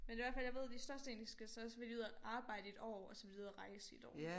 Men i hvert fald jeg ved de størstedelen de skal så vil de ud og arbejde i et år og så vil de ud og rejse i et år